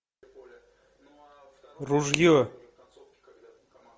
ружье